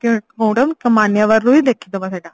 ମାନ୍ୟବର ରୁ ହିଁ ଦେଖିଦବା ସେଇଟା